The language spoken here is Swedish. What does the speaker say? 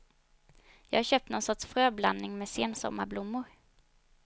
Jag har köpt någon sorts fröblandning med sensommarblommor.